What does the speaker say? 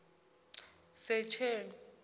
secheni